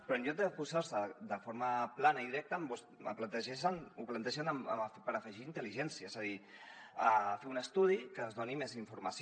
però en lloc d’oposar s’hi de forma plana i directa ho plantegen per afegir hi intel·ligència és a dir fer un estudi que ens doni més informació